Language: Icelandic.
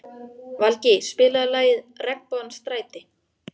Valgý, spilaðu lagið „Regnbogans stræti“.